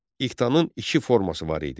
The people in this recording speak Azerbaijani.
İqtanın iki forması var idi.